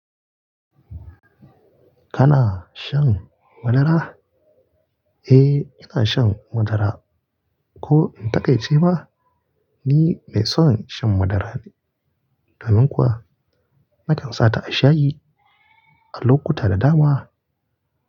Kana shan madara? Eh, ina shan madara. Ko in taƙaice ma, ni mai son shan madara ne. Domin kuwa nakan sa ta a shayi a lokuta da dama.